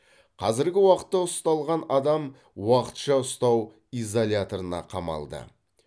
қазіргі уақытта ұсталған адам уақытша ұстау изоляторына қамалды